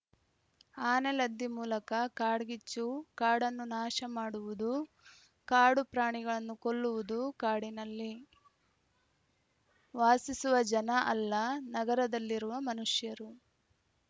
ಆನೆಲದ್ದಿ ಮೂಲಕ ಕಾಡ್ಗಿಚ್ಚು ಕಾಡನ್ನು ನಾಶ ಮಾಡುವುದು ಕಾಡು ಪ್ರಾಣಿಗಳನ್ನು ಕೊಲ್ಲುವುದು ಕಾಡಿನಲ್ಲಿ ವಾಸಿಸುವ ಜನ ಅಲ್ಲ ನಗರದಲ್ಲಿರುವ ಮನುಷ್ಯರು